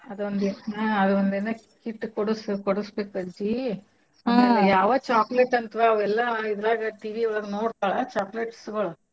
ಹ್ಮ್ ಅದೊಂದೇನ . kit ಕೊಡ್ಸು ಕೊಡಸ್ಬೇಕ ಅಜ್ಜಿ ಆಮೇಲೆ ಅವ್ಯಾವ chocolate ಅಂತ ವಾ ಅವೆಲ್ಲಾ TV ಒಳಗ್ ನೋಡ್ತಳ chocolates ಗಳು.